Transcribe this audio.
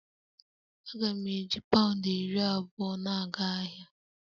Aga m eji pound iri abụọ na-aga ahịa